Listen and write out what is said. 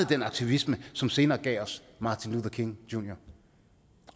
den aktivisme som senere gav os martin luther king jr